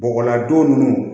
Bɔgɔladon ninnu